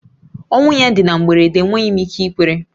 Ọnwụ ya dị na mberede, enweghị m ike ikwere